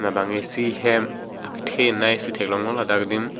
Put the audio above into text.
labang isi hem kethe nai si thek long lo ladak adim.